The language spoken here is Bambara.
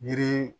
Yiri